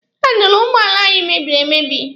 Handụlụ ụgbọala anyị mebiri emebi.